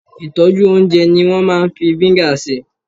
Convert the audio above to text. ìtọ́jú oúnjẹ ni wo maa n fi vinegar se